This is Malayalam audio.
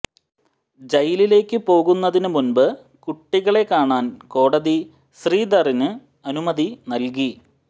ജയിലിലേക്ക് പോകുന്നതിന് മുൻപ് കുട്ടികളെ കാണാൻ കോടതി ശ്രീധറിന് അനുമതി നൽകി